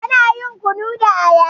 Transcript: Ana yin kunu da aya.